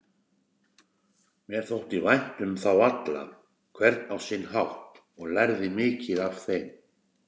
Mér þótti vænt um þá alla, hvern á sinn hátt, og lærði mikið af þeim.